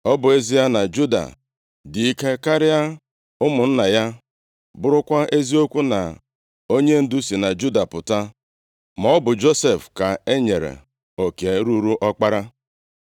Ọ bụ ezie na Juda dị ike karịa ụmụnna ya, bụrụkwa eziokwu na onyendu si na Juda pụta, maọbụ Josef ka e nyere oke ruuru ọkpara.